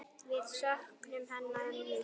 Við söknum hennar mikið.